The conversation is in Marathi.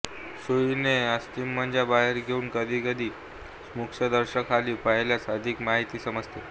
सुईने अस्थिमज्जा बाहेर घेऊन कधी कधी सूक्ष्मदर्शकाखाली पाहिल्यास अधिक माहिती समजते